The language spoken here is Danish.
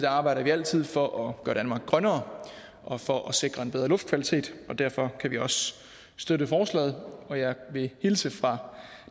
arbejder vi altid for at gøre danmark grønnere og for at sikre en bedre luftkvalitet og derfor kan vi også støtte forslaget og jeg vil hilse fra